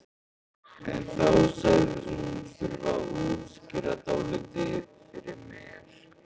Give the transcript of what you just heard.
En þá sagðist hún þurfa að útskýra dálítið fyrir mér.